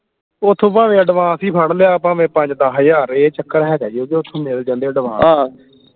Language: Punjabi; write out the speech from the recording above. ਓਥੋਂ ਭਾਵੇਂ advance ਹੀ ਫੜ ਲਿਆ ਭਾਵੇਂ ਪੰਜ ਦੱਸ ਹਜਾਰ ਇਹ ਚੱਕਰ ਹੈਗਾ ਜੇ ਓਥੋਂ ਮਿਲ ਜਾਂਦੇ advance